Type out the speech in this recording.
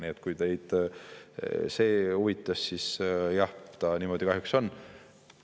Nii et kui teid see huvitas, siis jah, niimoodi kahjuks on.